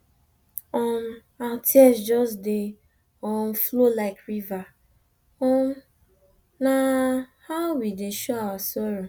um our tears just dey um flow like river um na how we dey show our sorrow